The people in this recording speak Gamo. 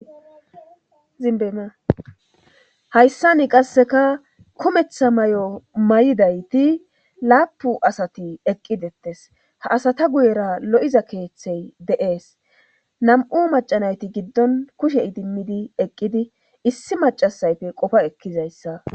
Hayssan qasekka kumeththa mayo mayiddaytti lappun asati eeqidettes ha asata guyera lo'iza keththey de'es nam'u maca naytti giddon kushe idimidii eeqida issi macasayppe qoopa ekizayssa